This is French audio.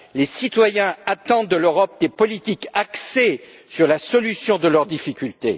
Les citoyens attendent de l'Europe des politiques axées sur la résolution de leurs difficultés.